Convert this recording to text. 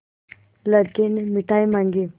लड़के ने मिठाई मॉँगी